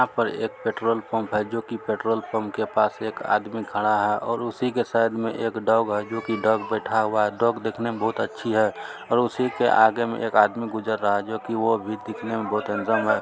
यहाँ पर एक पेट्रोल पंप है जो की पेट्रोल पंप के पास एक आदमी खड़ा है और उसी के साइड में एक डॉग है जो कि डॉग बैठा हुआ है डॉग दिखने में बहुत अच्छी है और उसी के आगे में एक आदमी गुजर रहा है जो कि वो भी दिखने में बहुत ही हैंडसम है।